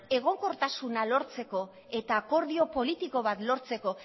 egonkortasuna lortzeko eta akordio politiko bat lortzeko